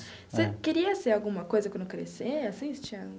Você queria ser alguma coisa quando crescer assim você tinha.